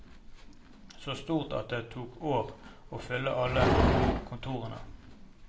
Så stort at det tok år å fylle alle kontorene.